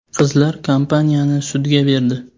Qizlar kompaniyani sudga berdi.